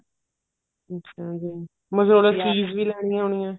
ਅੱਛਾ ਜੀ mozzarella cheese ਵੀ ਲੈਣੀ ਹੋਣੀ ਆ